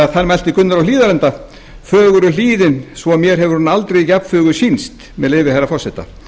að þar mælti gunnar á hlíðarenda fögur er hlíðin svo mér hefur hún aldrei jafn fögur sýnst með leyfi herra forseta